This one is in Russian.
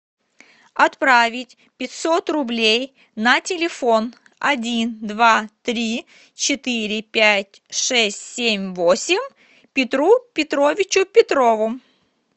отправить пятьсот рублей на телефон один два три четыре пять шесть семь восемь петру петровичу петрову